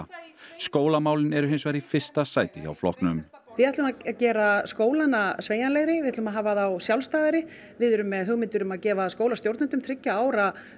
skólamálin eru hins vegar í fyrsta sæti hjá flokknum við ætlum að gera skólana sveigjanlegri við ætlum að hafa þá sjálfstæðari við erum með hugmyndir um að gefa skólastjórnendum þriggja ára